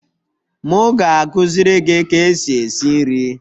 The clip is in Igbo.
M ga-akụziri gị ka esi esi nri